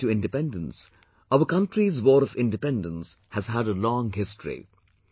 Prior to Independence, our country's war of independence has had a long history